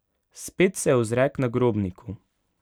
Spet se ozre k nagrobniku.